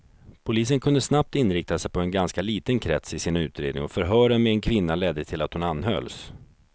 Polisen kunde snabbt inrikta sig på en ganska liten krets i sin utredning och förhören med en kvinna ledde till att hon anhölls.